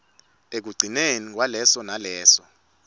ekugcineni kwaleso naleso